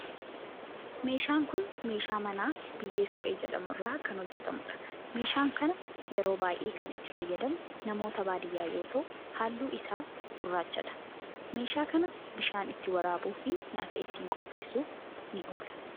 Meeshaan kun meeshaa manaa biyyee suphee jedhamu irraa kan hojjetamudha. meeshaan kana yeroo baayyee kan itti fayyadamu namoota baadiyaa yoo ta'u halluu isaa gurraachadha. meeshaa kana bishaan ittiin waraabuu fi nyaata itti qopheessuf ni oola.